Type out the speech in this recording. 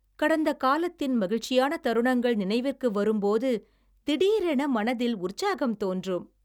கடந்த காலத்தின் மகிழ்ச்சியான தருணங்கள் நினைவிற்கு வரும் போது, தீடீரென மனதில் உற்சாகம் தோன்றும்